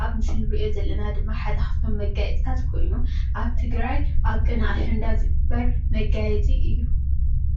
ኣብ ምስሊ እንሪኦ ዘለና ድማ ኻፍቶም መጋየፅታት ኾይኑ ኣብ ቅነ ኣሸንዳ ዝግበር መጋየፂ እዩ።